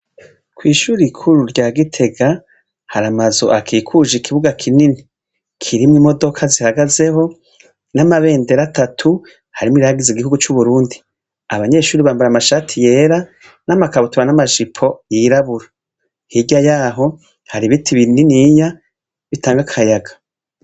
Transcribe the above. Ishure rikuru rya Gitega, har'amazu akikujwe ikibuga kinini kirimwo imodoka zihagazeho n'amabendera atatu harimwo irihayagiza igihugu c'Uburundi. Abanyeshure bambaye amashati yera nama kabutura n'amajipo y'irabura. Hirya yaho har'ibiti bininiya bitanga akayaga.